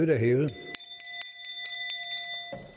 det som